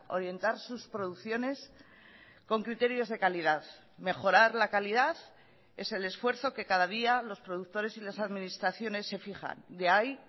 orientar sus producciones con criterios de calidad mejorar la calidad es el esfuerzo que cada día los productores y las administraciones se fijan de ahí